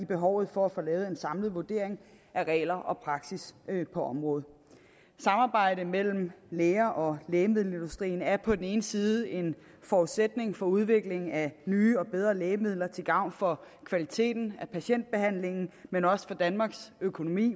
behovet for at få lavet en samlet vurdering af regler og praksis på området samarbejde mellem læger og lægemiddelindustrien er på den ene side en forudsætning for udviklingen af nye og bedre lægemidler til gavn for kvaliteten af patientbehandlingen men også for danmarks økonomi